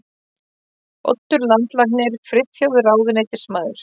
Oddur landlæknir, Friðþjófur ráðuneytismaður